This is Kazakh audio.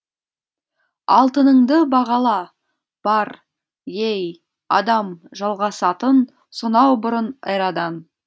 алтыныңды бағала бар ей адам жалғасатын сонау бұрын эрадан